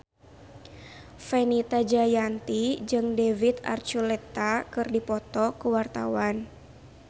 Fenita Jayanti jeung David Archuletta keur dipoto ku wartawan